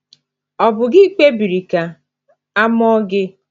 Ọ̀ bụ gị kpebiri ka a mụọ gị?